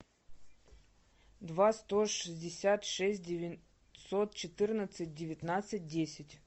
два сто шестьдесят шесть девятьсот четырнадцать девятнадцать десять